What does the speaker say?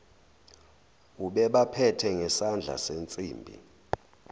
ubebaphethe ngesandla sensimbi